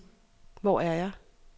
Hvor er jeg